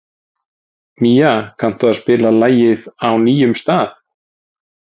Mía, kanntu að spila lagið „Á nýjum stað“?